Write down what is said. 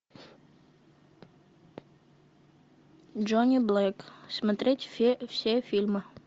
джонни блэк смотреть все фильмы